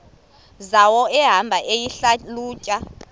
zawo ehamba eyihlalutya